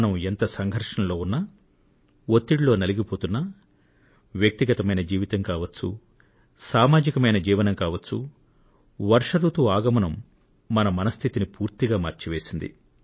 మనం ఎంత సంఘర్షణలో ఉన్నా ఒత్తిడితో నలిగిపోతున్నా అది ఒకరి స్వీయ జీవితం కావచ్చు లేదా ప్రజా జీవనం కావచ్చు వర్షాల రాకడ ఒకరిలో ఉత్సాహాన్ని నింపి తీరుతుందనేది అనుభవైకవేద్యం